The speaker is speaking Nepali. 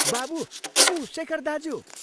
बाबु, ऊ शेखर दाज्यू!